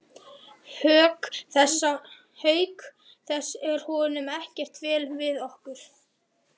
Auk þess er honum ekkert vel við okkur.